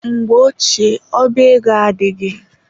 Mgbe ochie, ọba ego adịghị.